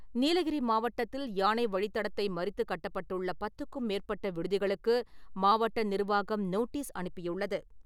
நீலகிரி மாவட்டத்தில் யானை வழித்தடத்தை மறித்து கட்டப்பட்டுள்ள பத்துக்கும் மேற்பட்ட விடுதிகளுக்கு மாவட்ட நிர்வாகம் நோட்டீஸ் அனுப்பியுள்ளது.